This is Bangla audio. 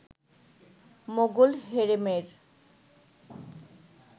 মোগল হেরেমের